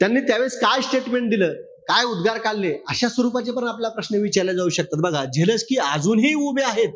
त्यांनी त्यावेळेस काय statement दिलं? काय उद्गार काढले. अशा स्वरूपाचे पण प्रश्न आपल्याला विचारले जाऊ शकतात बघा. झेलेन्स्की अजूनही उभे आहेत.